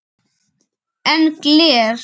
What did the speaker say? Hafþór: En gler?